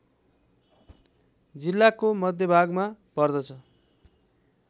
जिल्लाको मध्यभागमा पर्दछ